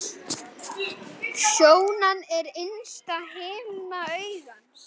Sjónan er innsta himna augans.